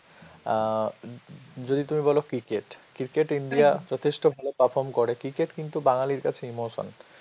অ্যাঁ য~ যদি তুমি বলো cricket, cricket India যথেষ্ট ভালো perform করে. cricket কিন্তু বাঙালির কাছে emotion.